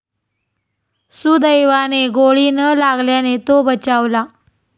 सुदैवाने गोळी न लागल्याने तो बचावला.